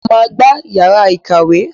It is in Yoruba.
Mo máa gbá yàrá ìkàwé.